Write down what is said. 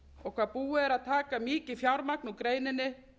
og hvað búið er að taka mikið fjármagn úr greininni